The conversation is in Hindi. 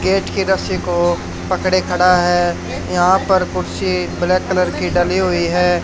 गेट के रस्सी को पकड़े खड़ा है यहां पर कुर्सी ब्लैक कलर की डली हुई है।